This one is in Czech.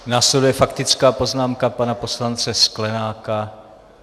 Následuje faktická poznámka pana poslance Sklenáka.